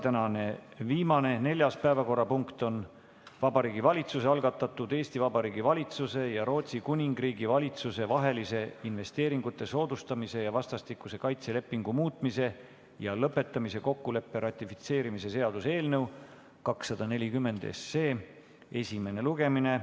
Tänane viimane, neljas päevakorrapunkt on Vabariigi Valitsuse algatatud Eesti Vabariigi valitsuse ja Rootsi Kuningriigi valitsuse vahelise investeeringute soodustamise ja vastastikuse kaitse lepingu muutmise ja lõpetamise kokkuleppe ratifitseerimise seaduse eelnõu 240 esimene lugemine.